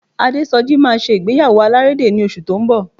Adésọjí máa ṣe ìgbéyàwó alárédè ní oṣù tó ń bọ̀